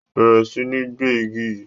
Bẹrẹ sí ní gbẹ igi yí!